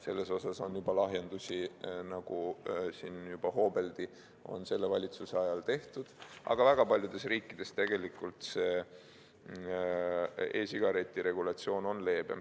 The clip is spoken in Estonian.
Selles osas on lahjendusi, nagu siin juba hoobeldi, ka selle valitsuse ajal tehtud, aga väga paljudes riikides tegelikult see e-sigareti regulatsioon on leebem.